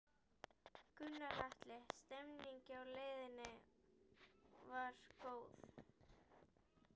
Gunnar Atli: Stemningin á leiðinni, hún var góð?